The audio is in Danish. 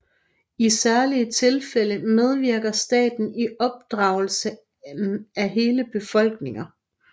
I særlige tilfælde medvirker staten i opdragelsen af hele befolkninger